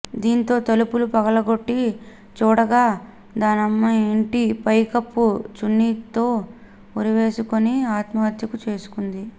దీంతో తలుపులు పగులగొట్టి చూడగా ధనమ్మ ఇంటి పైకప్పుకు చున్నీతో ఉరివేసుకుని ఆత్మహత్మకు చేసుకుంది